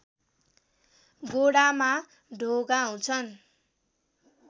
गोडामा ढोगाउँछन्